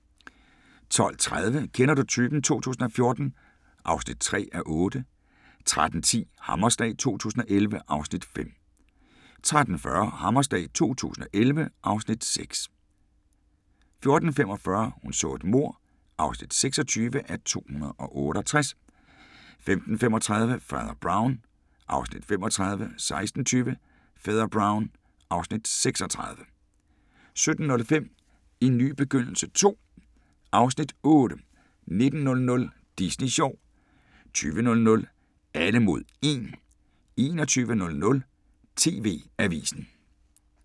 12:30: Kender du typen 2014 (3:8) 13:10: Hammerslag 2011 (Afs. 5) 13:40: Hammerslag 2011 (Afs. 6) 14:45: Hun så et mord (26:268) 15:35: Fader Brown (Afs. 35) 16:20: Fader Brown (Afs. 36) 17:05: En ny begyndelse II (Afs. 8) 19:00: Disney sjov 20:00: Alle mod 1 21:00: TV-avisen